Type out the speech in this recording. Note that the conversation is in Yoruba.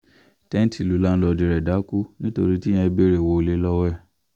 tẹ́ǹtí lù láńlọ́ọ̀dù rẹ̀ dákú nítorí tíyẹn béèrè owó ilé lọ́wọ́ ẹ̀